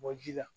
Bɔ ji la